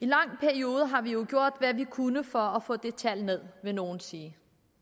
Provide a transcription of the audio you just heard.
lang periode har vi jo gjort hvad vi kunne for at få det tal ned vil nogle sige